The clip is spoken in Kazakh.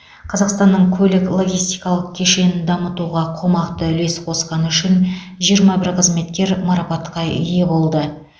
қазақстанның көлік логистикалық кешенің дамытуға қомақты үлес қосқаны үшін жиырма бір қызметкер марапатқа ие болды